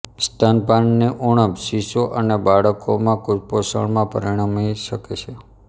સ્તનપાનની ઉણપ શીશો અને બાળકોમાં કુપોષણમાં પરિણમી શકે છે